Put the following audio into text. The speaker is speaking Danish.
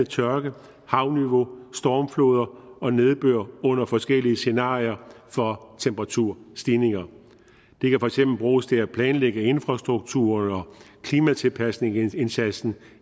tørke havniveau stormfloder og nedbør under forskellige scenarier for temperaturstigninger det kan for eksempel bruges til at planlægge infrastrukturen og klimatilpasningsindsatsen